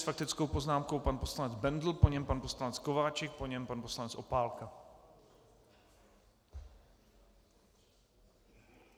S faktickou poznámkou pan poslanec Bendl, po něm pan poslanec Kováčik, po něm pan poslanec Opálka.